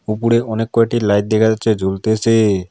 উপরে অনেক কয়টি লাইট দেখা যাচ্ছে জ্বলতেসে।